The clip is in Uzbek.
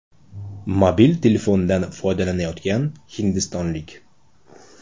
Mobil telefondan foydalanyotgan hindistonlik.